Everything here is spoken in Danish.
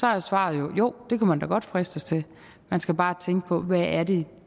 er svaret jo det kunne man da godt fristes til man skal bare tænke på hvad det